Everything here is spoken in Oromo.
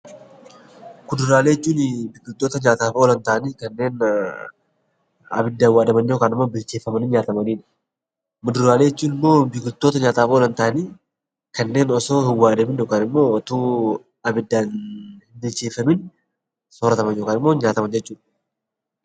Kuduraaleen biqiltoota nyaataaf oolan ta'anii kanneen ibiddaan waadamanii yookaan immoo bilcheeffamanii nyaatamanidha. Muduraalee jechuun immoo biqiltoota nyaataaf oolan ta'anii kanneen osoo hin waadamiin yookaan ibiddaan hin bilcheeffamiin nyaataman yookaan soorrataman jechuudha.